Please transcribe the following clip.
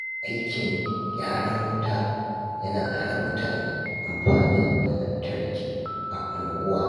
Aikin gyaran wuta ya hana mutane amfani da lantarki a unguwa.